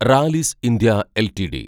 Rallis India LTD